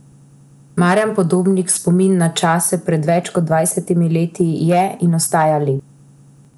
Marjan Podobnik Spomin na čase pred več kot dvajsetimi leti je in ostaja lep.